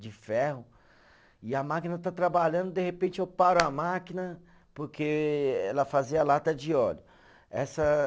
De ferro, e a máquina está trabalhando, de repente eu paro a máquina porque ela fazia lata de óleo, essa